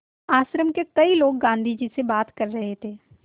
आश्रम के कई लोग गाँधी जी से बात कर रहे थे